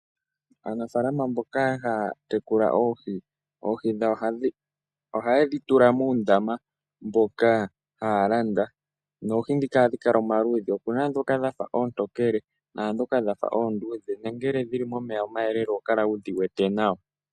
Aanafaalama mboka haya tekula oohi, oohi dhawo ohaye dhi tula muundama mboka haya landa noohi ndhika ohadhi kala omaludhi. Opu na ndhoka dha fa oontokele naandhoka dha fa oonduudhe. Nongele dhi li momeya omayelele oho kala wu dhi wete nawa.